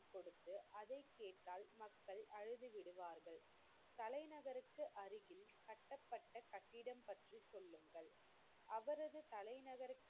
அதைக் கேட்டால் மக்கள் அழுது விடுவார்கள். தலைநகருக்கு அருகில் கட்டப்பட்ட கட்டிடம் பற்றி சொல்லுங்கள். அவரது தலைநகர்,